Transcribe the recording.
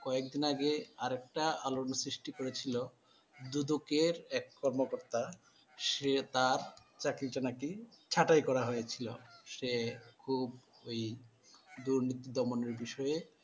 কয়েকদিন আগে আরেকটা আলোড়ন সৃষ্টি করেছিল দুদুকের এক কর্মকর্তা সে তার চাকরিটা নাকি ছাঁটাই করা হয়েছিল। সে খুব ওই দুর্নীতি দমনের বিষয়ে